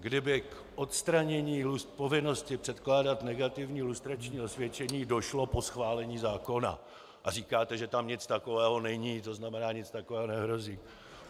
Kdyby k odstranění povinnosti předkládat negativní lustrační osvědčení došlo po schválení zákona, a říkáte, že tam nic takového není, to znamená, nic takového nehrozí.